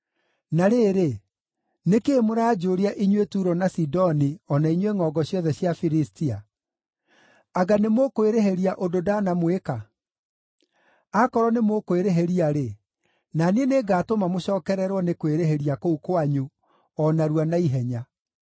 “Na rĩrĩ, nĩ kĩĩ mũranjũria, inyuĩ Turo na Sidoni o na inyuĩ ngʼongo ciothe cia Filistia? Anga nĩmũkwĩrĩhĩria ũndũ ndanamwĩka? Akorwo nĩmũkwĩrĩhĩria-rĩ, na niĩ nĩngatũma mũcookererwo nĩ kwĩrĩhĩria kũu kwanyu o narua na ihenya.